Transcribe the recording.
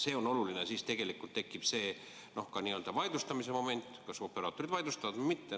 See on oluline, sest siis tegelikult tekib ka n-ö vaidlustamise moment, kas operaatorid vaidlustavad või mitte.